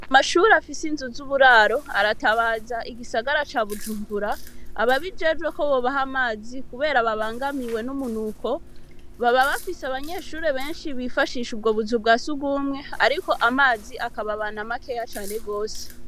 Mashuri afise inzuz'uburaro aratabaza igisagara ca bujumbura ababijejwe ko bobahe amazi, kubera babangamiwe n'umunuko baba bafise abanyeshuri benshi bifashisha ubwo buza ubwa si ugumwe, ariko amazi akababana makeya cane rwose.